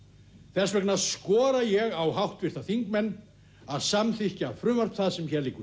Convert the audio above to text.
þess vegna skora ég á háttvirta þingmenn að samþykkja frumvarp það sem hér liggur